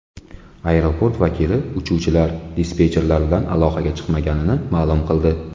Aeroport vakili uchuvchilar dispetcherlar bilan aloqaga chiqmaganini ma’lum qildi.